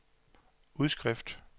udskrift